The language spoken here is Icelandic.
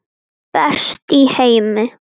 Best í heimi.